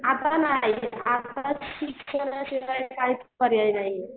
आता नाही आता शिक्षणाशिवाय काहीच पर्याय नाहीये.